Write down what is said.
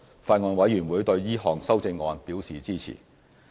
法案委員會對這項修正案表示支持。